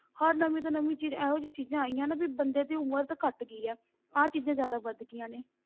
ਹਰ ਨਵੀਂ ਤੋਂ ਨਵੀਂ ਚੀਜ਼ ਇਹੋ ਜਿਹੀ ਚੀਜ਼ਾਂ ਆਈਆਂ ਨੇ ਵੀ ਬੰਦੇ ਦੀ ਉਮਰ ਤਾਂ ਘੱਟ ਗਈ ਹੈ, ਆਹ ਚੀਜ਼ਾਂ ਜ਼ਿਆਦਾ ਵੱਧ ਗਈਆਂ ਨੇ।